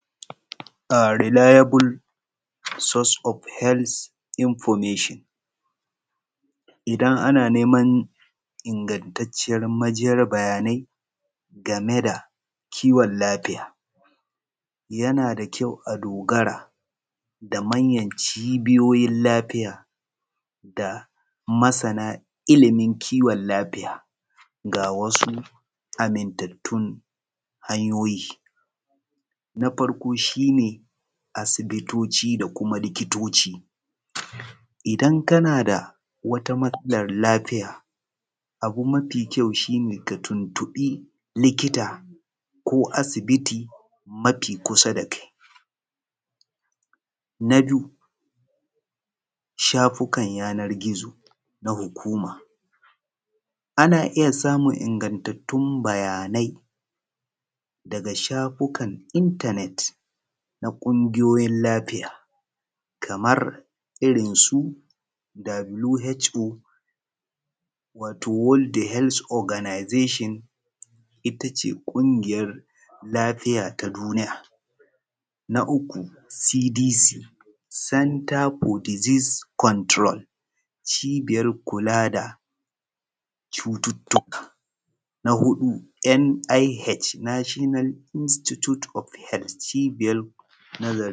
Reliable source of information idan ana neman ingantacciyar bayanai game da kiwon lafiya yana da ƙyau a dogara da manyan cibiyoyin lafiya da masana ilimin kiwon lafiya ga wasu amintattun hanyoyi. Na farjo shi ne asibitoci da kima saura likitoci. Idan kana da wata matsalar abu mafi ƙyau shi ka tuntubi likita ko asibiti mafinkusa da kai. Na biyu shafukan yanar gizo na hukuma. Ana iya samun ingantattun bayanai daga shafukan internet na ƙungiyoyi lafiya Kamar irinsu WHO wato world health Organisation, ita ce ƙungiyar lafiya ta duniya. Na uku CDC, Centre for disease control wato cibiyar kula da cuttuttuka. Na huɗu NIH. National institute of health.